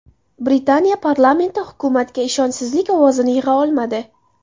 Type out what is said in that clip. Britaniya Parlamenti hukumatga ishonchsizlik ovozini yig‘a olmadi.